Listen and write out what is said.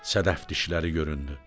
Sədəf dişləri göründü.